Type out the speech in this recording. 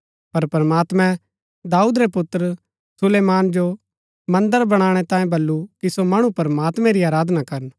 पर प्रमात्मैं दाऊद रै पुत्र सुलेमान जो मन्दर बणाणै तांई बल्लू कि सो मणु प्रमात्मैं री आराधना करन